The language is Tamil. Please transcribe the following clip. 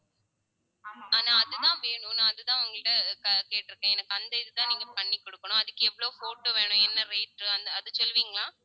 ஆனா அதுதான் வேணும் நான் அதுதான் உங்க கிட்ட க~ கேட்டிருக்கேன் எனக்கு அந்த இதுதான் நீங்க பண்ணிக் கொடுக்கணும் அதுக்கு எவ்வளவு photo வேணும் என்ன rate அந்த அது சொல்லுவீங்களா